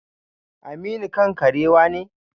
Aminu kan karewa ne?